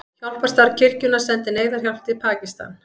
Hjálparstarf kirkjunnar sendir neyðarhjálp til Pakistan